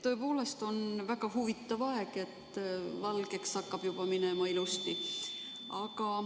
Tõepoolest on väga huvitav aeg, valgeks hakkab juba minema ilusti.